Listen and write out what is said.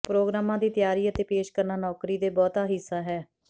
ਪ੍ਰੋਗਰਾਮਾਂ ਦੀ ਤਿਆਰੀ ਅਤੇ ਪੇਸ਼ ਕਰਨਾ ਨੌਕਰੀ ਦੇ ਬਹੁਤਾ ਹਿੱਸਾ ਹੈ